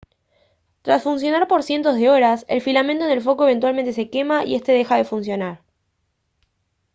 tras funcionar por cientos de horas el filamento en el foco eventualmente se quema y esta deja de funcionar